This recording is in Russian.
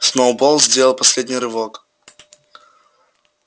сноуболл сделал последний рывок